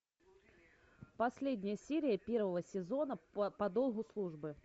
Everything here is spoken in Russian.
последняя серия первого сезона по долгу службы